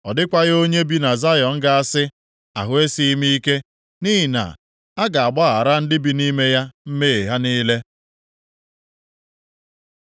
Ọ dịkwaghị onye bi na Zayọn ga-asị, “Ahụ esighị m ike,” + 33:24 Ana m arịa ọrịa nʼihi na a ga-agbaghara ndị bi nʼime ya mmehie ha niile.